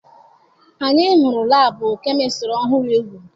Anyị hụrụ laabụ kemistịrị ọhụrụ e wuru.